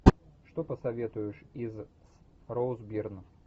что посоветуешь из с роуз бирн